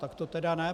Tak to tedy ne.